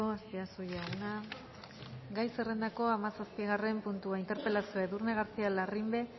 azpiazu jauna gai zerrendako hamazortzigarren puntua galdera edurne garcía larrimbe